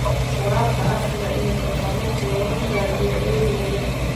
Waraabka casriga ahi waxa uu saamayn ku yeelan karaa beeralayda yaryar.